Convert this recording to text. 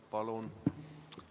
Palun!